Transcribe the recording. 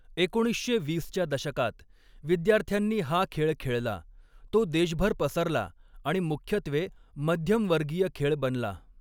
एकोणीसशे वीसच्या दशकात, विद्यार्थ्यांनी हा खेळ खेळला, तो देशभर पसरला आणि मुख्यत्वे मध्यमवर्गीय खेळ बनला.